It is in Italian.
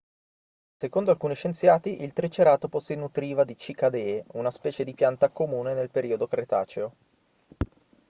secondo alcuni scienziati il triceratopo si nutriva di cicadee una specie di pianta comune nel periodo cretaceo